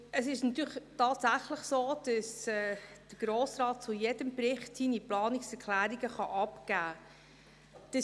Es ist tatsächlich so, dass der Grosse Rat zu jedem Bericht seine Planungserklärungen abgeben kann.